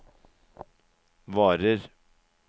varer